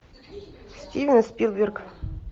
стивен спилберг